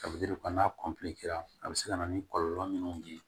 Ka n'a a bɛ se ka na ni kɔlɔlɔ minnu ye